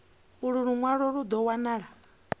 ulu lunwalo lu do wanala